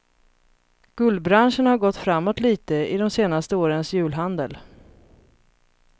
Guldbranschen har gått framåt lite i de senaste årens julhandel.